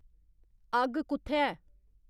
अग्ग कु'त्थै ऐ